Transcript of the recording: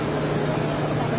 On iki min.